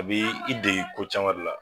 A bi i degi ko caman de la.